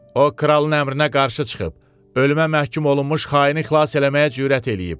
O kralın əmrinə qarşı çıxıb, ölümə məhkum olunmuş xaini xilas eləməyə cürət eləyib.